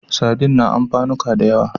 Sardin a amfanuka da yawa.